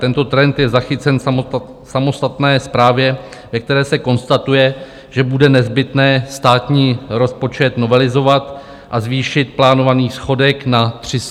Tento trend je zachycen v samostatné zprávě, ve které se konstatuje, že bude nezbytné státní rozpočet novelizovat a zvýšit plánovaný schodek na 330 miliard.